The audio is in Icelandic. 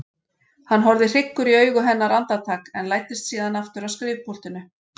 Hann horfði hryggur í augu hennar andartak en læddist síðan aftur að skrifpúltinu.